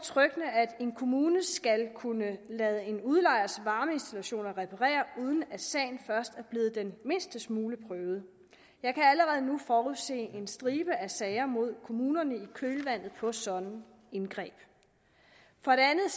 at en kommune skal kunne lade en udlejers varmeinstallationer reparere uden at sagen først er blevet den mindste smule prøvet jeg kan allerede nu forudse en stribe af sager mod kommunerne i kølvandet på sådanne indgreb for det andet